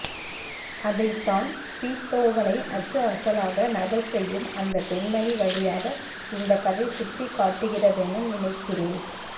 அதைத்தான் பீத்தோவனை அச்சுஅசலாக நகல்செய்யும் அந்தப்பெண்மணி வழியாக இந்தக்கதை சுட்டிக்காட்டுகிறதென நினைக்கிறேன்